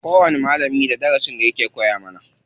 Kowani malamin da darasin da yake koya mana.